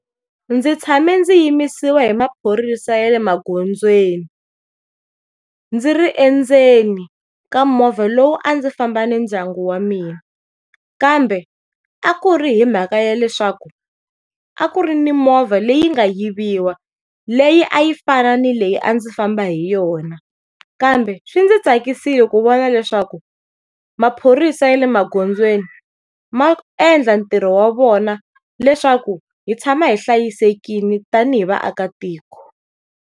Ndzi tshame ndzi yimisiwa hi maphorisa ya le magondzweni ndzi ri endzeni ka movha lowu a ndzi famba ni ndyangu wa mina, kambe a ku ri hi mhaka ya leswaku ko a ku ri ni movha leyi nga yiviwa leyi a yi fana ni leyi a ndzi famba hi yona. Kambe swi ndzi tsakisile ku vona leswaku maphorisa ya le magondzweni maendla ntirho wa vona leswaku hi tshama hi hlayisekile tanihi vaakatiko.